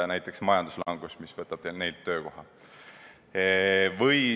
Näiteks, majanduslangus, mis võtab inimeselt töökoha.